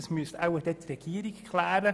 Das müsste eher die Regierung klären.